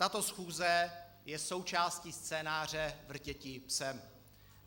Tato schůze je součástí scénáře Vrtěti psem.